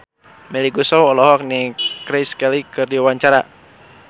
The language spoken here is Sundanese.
Melly Goeslaw olohok ningali Grace Kelly keur diwawancara